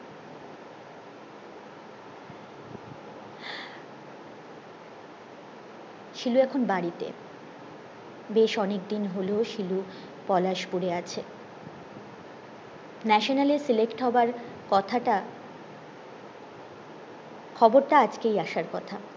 শিলু এখন বাড়িতে বেশ অনেকদিন হলো শিলু পলাশ পুড়ে আছে ন্যাশনালে সিলেক্ট হওয়ার কথাটা খবরটা আজকেই আসার কথা